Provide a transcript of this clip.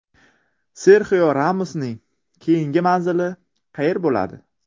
Serxio Ramosning keyingi manzili qayer bo‘ladi?